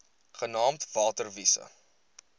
genaamd water wise